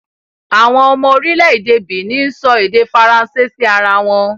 Àwọn ọmọ orílẹ̀ èdè Benin ń sọ èdè Faransé sí ara wọn